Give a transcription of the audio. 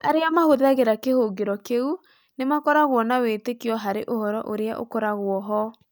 Arĩa mahũthagĩra kĩhũngĩro kĩu nĩ makoragwo na wĩtĩkio harĩ ũhoro ũrĩa ũkoragwo ho